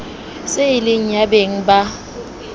se e le yabeng ba